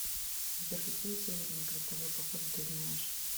сбер какие северные крестовые походы ты знаешь